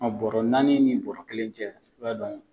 Ɔn bɔrɔ naani ni bɔrɔ kelen cɛ, i b'a dɔn